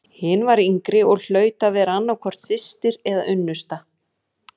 Hin var yngri og hlaut að vera annað hvort systir eða unnusta.